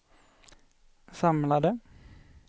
samlade